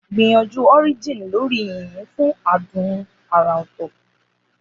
Gbìyànjú Orijin lórí yìnyín fún adùn àrà ọ̀tọ̀.